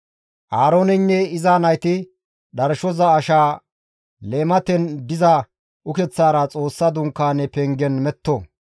Aarooneynne iza nayti dharshoza ashaa leematen diza ukeththara Xoossa Dunkaane pengen metto.